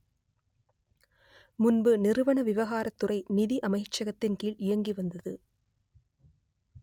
முன்பு நிறுவன விவகாரத்துறை நிதி அமைச்சகத்தின் கீழ் இயங்கி வந்தது